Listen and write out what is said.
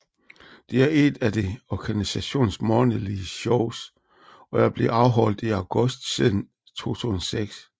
Det er ét af organisationens månedlige shows og er blevet afholdt i august siden 2006